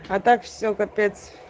а так всё капец